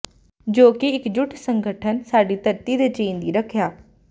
ਜੋ ਕਿ ਇੱਕਜੁੱਟ ਸੰਗਠਨ ਸਾਡੀ ਧਰਤੀ ਦੇ ਚੈਨ ਦੀ ਰੱਖਿਆ